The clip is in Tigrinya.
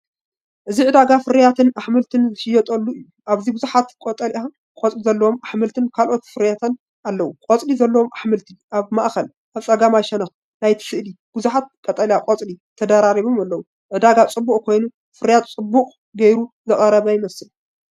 እዚ ዕዳጋ ፍረታትን ኣሕምልትን ዝሽየጠሉ እዩ። ኣብዚ ብዙሓት ቀጠልያ ቆጽሊ ዘለዎም ኣሕምልትን ካልኦት ፍርያትን ኣለዉ። ቆጽሊ ዘለዎም ኣሕምልቲ ኣብ ማእከልን ኣብ ጸጋማይ ሸነኽን ናይቲ ስእሊ ብዙሓት ቀጠልያ ቆጽሊ ተደራሪቦም ኣለዉ። ዕዳጋ ጽዑቕ ኮይኑ ፍርያት ጽቡቕ ጌሩ ዝቐረበ ይመስል።